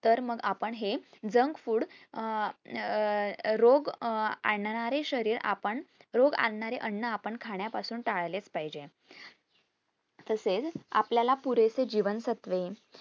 तर मग आपण हे junk food अं अं रोग अं आणणारे शरीर आपण रोग आणणारे अन्न आपण खाण्यापासून टाळलेच पाहिजे. तसेचआपल्याला पुरेसे जीवन सत्वे